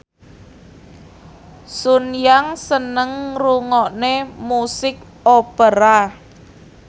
Sun Yang seneng ngrungokne musik opera